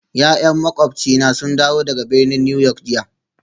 Ya'yan makwabcina sun dawo daga birnin New York jiya